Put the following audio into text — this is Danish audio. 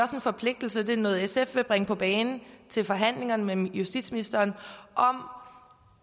forpligtelse det er noget sf vil bringe på bane til forhandlingerne med justitsministeren